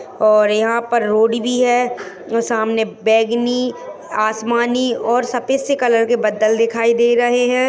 और यहाँ पर रोड भी है सामने बेंगनी आसमानी और सफेद से कलर के बदल दिखाई दे रहे हैं।